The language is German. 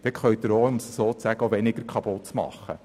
Anderseits können Sie dort auch weniger kaputtmachen.